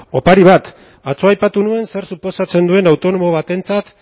opari bat atzo aipatu nuen zer suposatzen duen autonomo batentzat